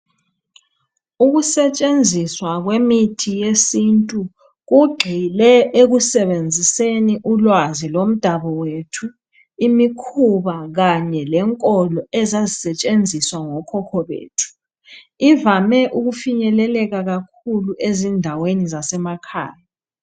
Ukusetshenziswa kwemithi yesintu kugxile ekusebenziseni ulwazi lomdabuko wethu, imikhuba kanye lenkolo ezazisetshenziswa ngokhokho bethu, ivame ukufinyeleleka kakhulu ezindaweni zasemakhaya.